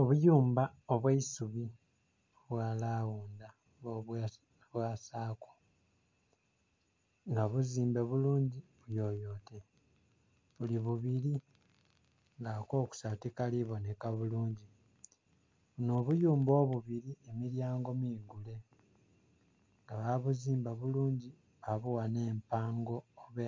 Obuyumba obw'eisubi obwa lawunda oba obwa saako nga buzimbe bulungi buyoyote buli bubili nga ak'okusatu tikali boneka bulungi. Buno obuyumba obubili emilyango migule nga babuzimba bulungi babugha nh'empango oba